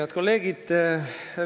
Head kolleegid!